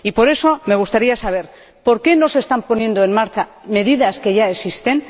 Por eso me gustaría saber por qué no se están poniendo en marcha medidas que ya existen.